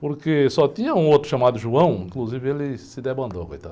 Porque só tinha um outro chamado, inclusive ele se debandou, coitado.